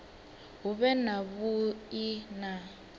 hu vhe na vhui na